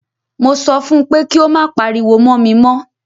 Mo sọ fún pé kí o má pariwo mọ́ mi mọ́!